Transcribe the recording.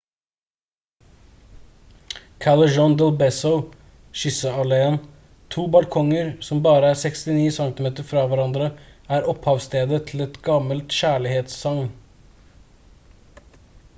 callejon del beso kysse-alléen. to balkonger som bare er 69 centimeter fra hverandre er opphavsstedet til et gammelt kjærlighetssagn